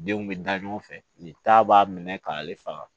Denw bɛ da ɲɔgɔn fɛ nin ta b'a minɛ k'ale faga